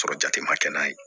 Sɔrɔ jate ma kɛ n'a ye